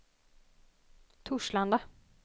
Torslanda